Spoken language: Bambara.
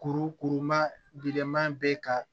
Kurukuru ma glenman bɛ ka